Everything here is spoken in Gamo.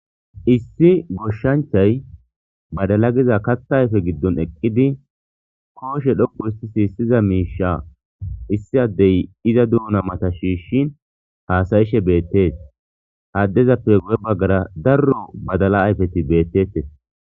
issi goshshanchay badala giza katha ayfe giddon eqqidi kooshe dhoku histi siissiza miisha issi addey iza duhuna mata shiishin haasayishe beettees haaddezappe guye baggara darro badala ayfeti beettettes